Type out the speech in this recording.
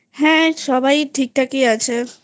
হ্যাঁ সবাই ঠিকঠাক ই আছে